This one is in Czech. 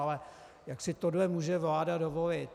Ale jak si tohle může vláda dovolit?